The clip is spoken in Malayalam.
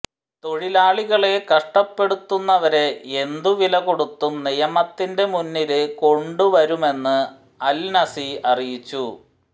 തൊഴിലാളികളെ കഷ്ടപ്പെടുത്തുന്നവരെ എന്തുവിലകൊടുത്തും നിയമത്തിന്റെ മുന്നില് കൊണ്ടുവരുമെന്നും അല് നസി അറിയിച്ചു